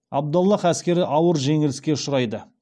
абдаллах әскері ауыр жеңіліске ұшырайды